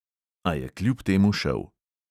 A je kljub temu šel.